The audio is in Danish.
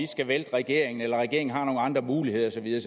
skal vælte regeringen eller om regeringen har nogle andre muligheder og så videre